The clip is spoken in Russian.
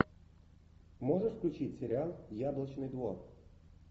можешь включить сериал яблочный двор